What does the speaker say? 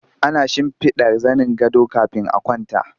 Ana shimfiɗa zanin gado kafin a kwanta